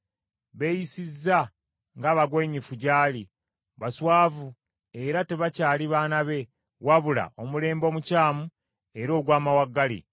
Beeyisizza ng’abagwenyufu gy’ali, baswavu era tebakyali baana be, wabula omulembe omukyamu era ogw’amawaggali.